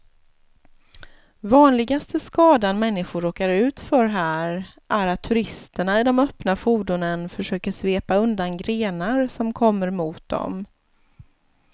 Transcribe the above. Vanligaste skadan människor råkar ut för här är att turisterna i de öppna fordonen försöker svepa undan grenar som kommer mot dem.